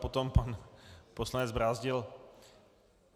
Potom pan poslanec Brázdil.